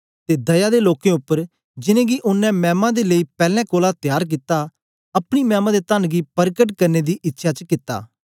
ते दया दे लोकें उपर जिनेंगी ओनें मैमा दे लेई पैलैं कोलां त्यार कित्ता अपनी मैमा दे तन्न गी परकट करने दी इच्छया च कित्ता